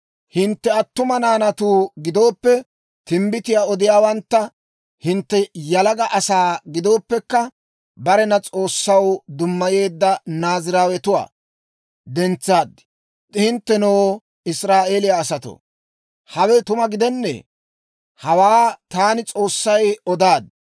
«Hintte attuma naanatu giddoppe timbbitiyaa odiyaawantta, hintte yalaga asaa giddoppekka barena S'oossaw dummayeedda Naaziraawetuwaa dentsaad. Hinttenoo, Israa'eeliyaa asatoo, hawe tuma gidennee? Hawaa taani S'oossay odaad.